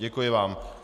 Děkuji vám.